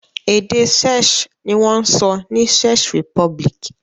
Èdè Czech ni wọ́n ń sọ ní Czech Republic.